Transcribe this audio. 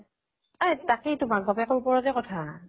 এ তাকেইটো মাক বাপেকৰ ওপৰতে কথা